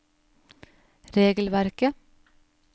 regelverket